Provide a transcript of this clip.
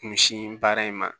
Kunsin baara in ma